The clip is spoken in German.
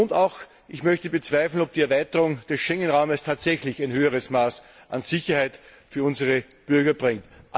Und ich möchte auch bezweifeln, dass die Erweiterung des Schengenraumes tatsächlich ein höheres Maß an Sicherheit für unsere Bürger bringt.